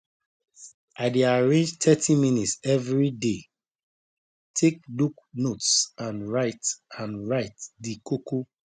i dey arrange thirty minutes evriday take look notes and write and write di koko